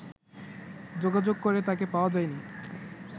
যোগাযোগ করে তাকে পাওয়া যায়নি